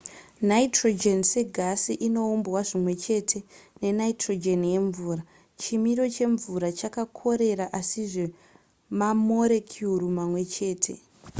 nitrogen segasi inoumbwa zvimwechete nenitrogen yemvura chimiro chemvura chakakorera asizve mamorekuru mamwe chete